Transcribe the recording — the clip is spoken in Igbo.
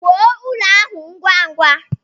Wuo ụlọ ahụ ngwa ngwa!